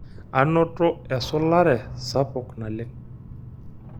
Anoto esulare sapuk naleng.